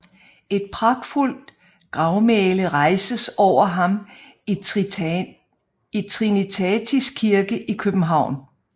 Et pragtfuldt gravmæle rejstes over ham i Trinitatis Kirke i København